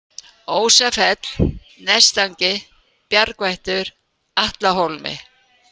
Ósafell, Nestangi, Bjargvættur, Atlahólmi